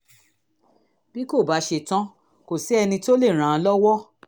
bí kò bá ṣe tán kò sí ẹni tó lè ràn án lọ́wọ́